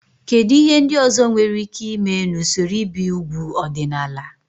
Kedu ihe ndị ọzọ nwere ike ime na usoro ibi úgwù ọdịnala?